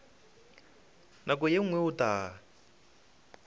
nako ye nngwe o tla